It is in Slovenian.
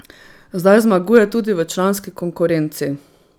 Zdaj zmaguje tudi v članski konkurenci.